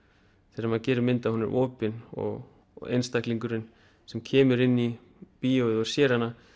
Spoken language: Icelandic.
þegar maður gerir mynd að hún sé opin og einstaklingurinn sem kemur inn í bíóið og sér hana